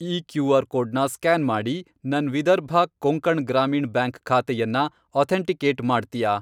ಈ ಕ್ಯೂ.ಆರ್. ಕೋಡ್ನ ಸ್ಕ್ಯಾನ್ ಮಾಡಿ, ನನ್ ವಿದರ್ಭ ಕೊಂಕಣ್ ಗ್ರಾಮೀಣ್ ಬ್ಯಾಂಕ್ ಖಾತೆಯನ್ನ ಅಥೆಂಟಿಕೇಟ್ ಮಾಡ್ತ್ಯಾ?